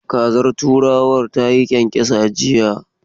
Kazar turawan ta yi kyankyasa jiya.